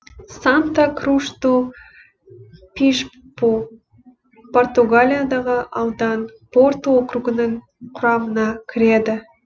санта круш ду бишпу португалиядағы аудан порту округінің құрамына кіреді